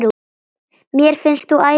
Mér finnst þú æðisleg dúlla!